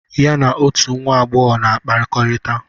Ya na otù nwa agbọghọ na-akpakọrịta.